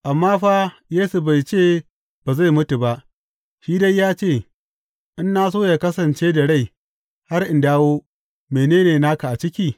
Amma fa Yesu bai ce ba zai mutu ba; shi dai ya ce, In na so yă kasance da rai har in dawo, mene ne naka a ciki?